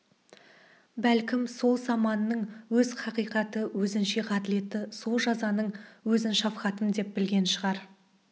бәлкім сол заманның өз хақиқаты өзінше ғаділеті сол жазаның өзін шафқатым деп білген шығар